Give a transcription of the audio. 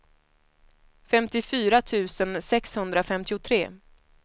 femtiofyra tusen sexhundrafemtiotre